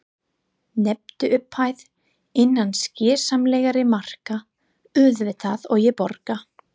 Nefndu upphæð, innan skynsamlegra marka auðvitað, og ég borga.